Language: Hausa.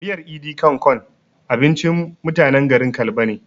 Miyar "idi kan kon" abincin mutanen garin kalba ne